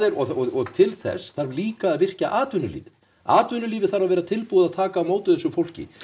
og til þess þarf líka að virkja atvinnulífið atvinnulífið þarf að vera tilbúið að taka á móti þessu fólki